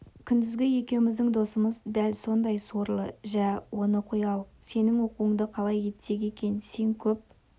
күндізгі екеуміздің досымыз дәл сондай сорлы жә оны қоялық сенің оқуыңды қалай етсек екен сен көп